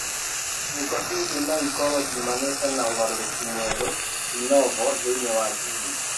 Ciiko ingĩ no ikorũo ciumanĩte na ũgarũrũku mwerũ (de novo) thĩinĩ wa jini.